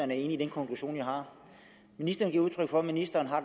er enig i den konklusion jeg har ministeren giver udtryk for at ministeren har